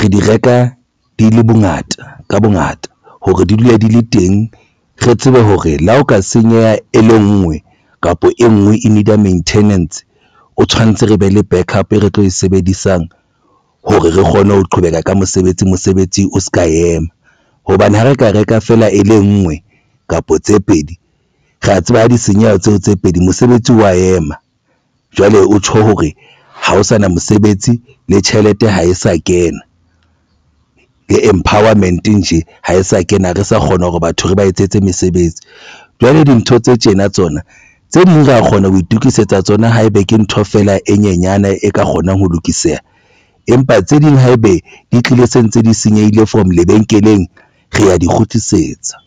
re di reka di le bongata ka bongata hore di dule di le teng re tsebe hore le ha o ka senyeha e le nngwe kapa e ngwe e need-a maintenance o tshwanetse re be le back up re tlo e sebedisang hore re kgone ho qhobeha ka mosebetsi mosebetsi o se ka ema hobane ha re ka reka feela e le nngwe kapa tse pedi re ya tseba ha di senyeha tseo tse pedi mosebetsi wa ema jwale ho tjho hore ha ho sana mosebetsi le tjhelete ha e sa kena le empowerment nje ha e sa kena re sa kgona ho re batho re ba etsetse mesebetsi jwale dintho tse tjena tsona tse ding ra kgona ho itukisetsa tsona haebe ke ntho fela e nyenyane e ka kgonang ho lokiseha. Empa tse ding haebe di tlile se ntse di senyehile from lebenkeleng re ya di kgutlisetsa.